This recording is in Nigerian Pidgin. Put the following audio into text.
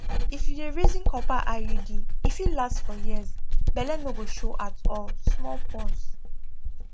if you dey reason copper iud e fit last for years belle no go show at all small pause